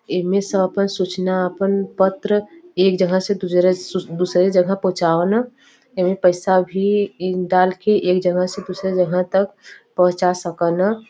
इमें स आपन सूचना आपन पत्र एक जगह से दूसरे स दूसरे जगह पहुचावल। एमे पैसा भी ई डाल के एक जगह से दूसरे जगह तक पहुचा सकन।